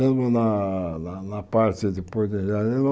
Mesmo na na na parte de